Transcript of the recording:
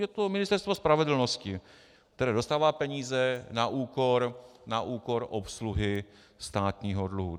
Je to Ministerstvo spravedlnosti, které dostává peníze na úkor obsluhy státního dluhu.